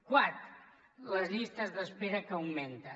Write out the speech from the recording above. quart les llistes d’espera que augmenten